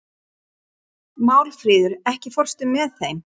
Málfríður, ekki fórstu með þeim?